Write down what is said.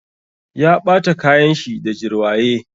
Ya ɓata kayan shi da jirwaye.